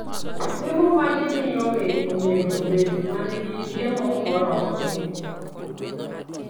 Chiemo ma gimiyo winy onego obed ma nigi chiemo moromogi.